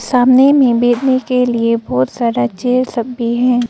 सामने में बैठने के लिए बहोत सारा चेयर सब भी हैं।